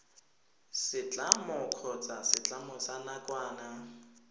setlamo kgotsa setlamo sa nakwana